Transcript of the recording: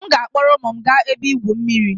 m ga-akpọrọ ụmụ m gaa ebe igwu mmiri